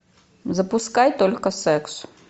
запускай только секс